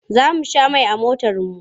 Za mu sha mai a motarmu.